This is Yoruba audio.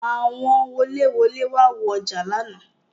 Àwọn wolẹ-wòde wá wo ọjà lánàá.